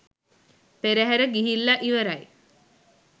පෙරහැර ගිහිල්ලා ඉවරයි.